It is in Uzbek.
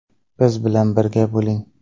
Biz bilan birga bo‘ling!